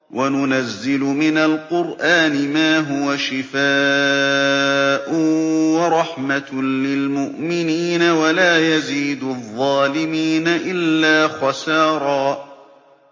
وَنُنَزِّلُ مِنَ الْقُرْآنِ مَا هُوَ شِفَاءٌ وَرَحْمَةٌ لِّلْمُؤْمِنِينَ ۙ وَلَا يَزِيدُ الظَّالِمِينَ إِلَّا خَسَارًا